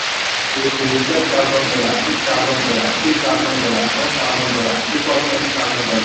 ìpín twelve thousand dollars, six thousand dollars three thousand dollars one thousand dollars equals twenty thousand dollars